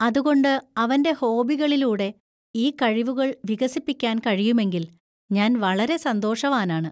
അതുകൊണ്ട് അവന്‍റെ ഹോബികളിലൂടെ ഈ കഴിവുകൾ വികസിപ്പിക്കാൻ കഴിയുമെങ്കിൽ, ഞാൻ വളരെ സന്തോഷവാനാണ്.